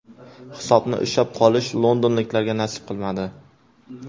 Hisobni ushlab qolish londonliklarga nasib qilmadi.